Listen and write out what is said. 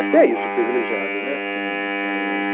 Até isso fui privilegiado né assim éh